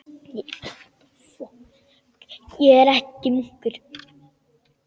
Ég er ekki munkur.